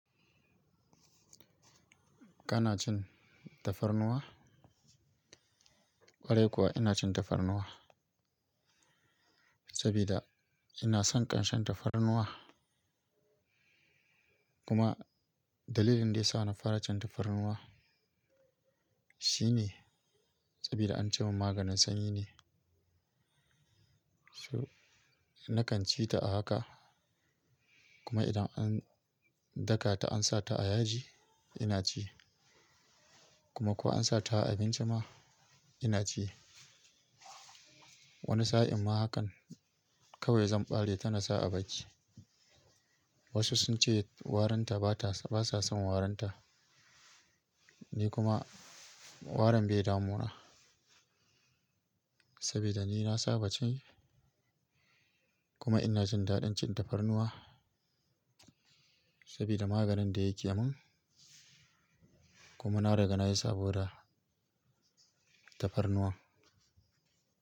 Kana cin tafarnuwa? Kwarai kuwa ina cin tafarnuwa sabida ina son ƙanshen tafarnuwa. Kuma dalilin da ya sa na fara cin tafarnuwa shine sabida an ce min maganin sanyi ne. Su, nakan ci ta a haka kuma idan an daka ta ansa ta a yaji ina ci kuma kuwa ansa ta a abinci ma ina ci. Wani sa'in ma hakan kawai zan ɓare tana sa a baki. Wasu sun ce warinta ba ta, basa son warinta ni kuma warin bai damu na sabida ni na saba ci kuma ina jin daɗin cin tafarnuwa sabida maganin da yake min kuma na riga na yi saboda tafarnuwa.